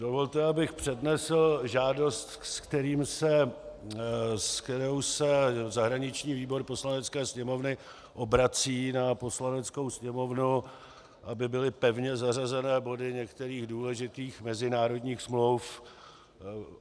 Dovolte, abych přednesl žádost, se kterou se zahraniční výbor Poslanecké sněmovny obrací na Poslaneckou sněmovnu, aby byly pevně zařazeny body některých důležitých mezinárodních smluv.